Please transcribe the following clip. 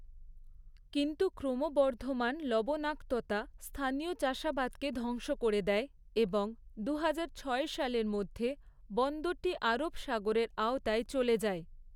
কিন্তু, ক্রমবর্ধমান লবণাক্ততা স্থানীয় চাষাবাদকে ধ্বংস করে দেয় এবং দুহাজার ছয় সালের মধ্যে বন্দরটি আরব সাগরের আওতায় চলে যায়।